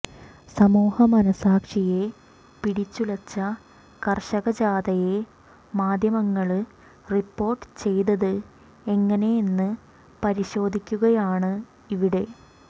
സമൂഹ മനസാക്ഷിയെ പിടിച്ചുല കര്ഷക ജാഥയെ മാധ്യമങ്ങള് റിപ്പോര്ട്ട് ചെയ്തത് എങ്ങനെ എന്ന് പരിശോധിക്കുകയാണ് ഇവിടെ